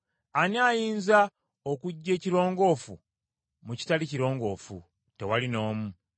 Ani ayinza okuggya ekirongoofu mu kitali kirongoofu? Tewali n’omu!